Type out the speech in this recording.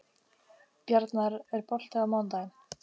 Bjarnar, er bolti á mánudaginn?